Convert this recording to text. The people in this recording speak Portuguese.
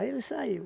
ele saiu.